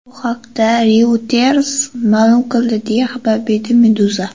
Bu haqda Reuters ma’lum qildi, deya xabar beradi Meduza.